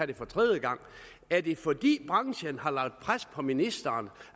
det for tredje gang er det fordi branchen har lagt pres på ministeren